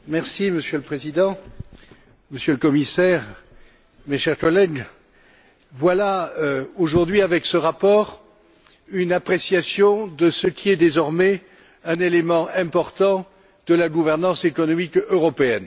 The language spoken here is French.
Monsieur le Président, Monsieur le Commissaire, mes chers collègues, voilà, aujourd'hui, avec ce rapport une appréciation de ce qui est désormais un élément important de la gouvernance économique européenne.